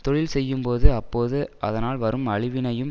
தொழில் செய்யும்போது அப்போது அதனால் வரும் அழிவினையும்